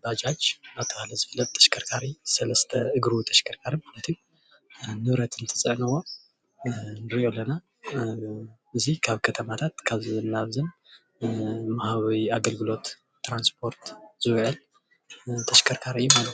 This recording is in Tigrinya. ባጃጅ እንዳተባሃለ ዝፍለጥ ተሽከርካሪ ሰለስተ እግሪ ተሽከርካሪ ማለት እዩ ንብረት እንትፅዕንዎ ንርኢ ኣለና፡፡ እዚ ካብ ከተማታት ካብን ናብን ንምሃብ ኣገልግሎት ትራንስፖርት ዝውዕል ተሽከርካሪ እዩ ማለት እዩ፡፡